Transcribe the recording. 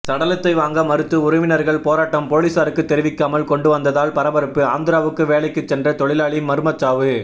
சடலத்தை வாங்க மறுத்து உறவினர்கள் போராட்டம் போலீசாருக்கு தெரிவிக்காமல் கொண்டுவந்ததால் பரபரப்பு ஆந்திராவுக்கு வேலைக்கு சென்ற தொழிலாளி மர்மச்சாவு